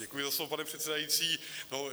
Děkuji za slovo, pane předsedající.